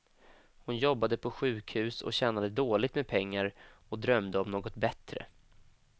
Hon jobbade på sjukhus och tjänade dåligt med pengar och drömde om något bättre.